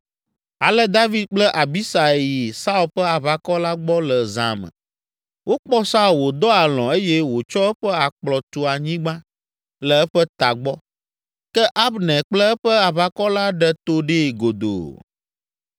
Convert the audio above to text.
Ale David kple Abisai yi Saul ƒe aʋakɔ la gbɔ le zã me. Wokpɔ Saul wòdɔ alɔ̃ eye wòtsɔ eƒe akplɔ tu anyigba le eƒe tagbɔ. Ke Abner kple eƒe aʋakɔ la ɖe to ɖee godoo.